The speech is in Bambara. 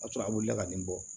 A sɔrɔ a wulila ka nin bɔ